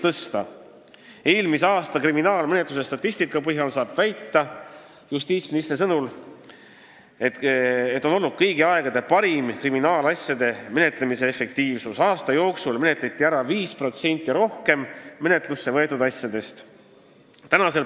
Justiitsministri sõnul saab eelmise aasta kriminaalmenetluse statistika põhjal väita, et meil oli kõigi aegade parim kriminaalasjade menetlemise efektiivsus: aasta jooksul menetleti ära 5% rohkem menetlusse võetud asjadest.